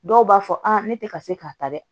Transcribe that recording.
Dɔw b'a fɔ ne tɛ ka se k'a ta dɛ